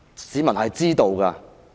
市民是知道的。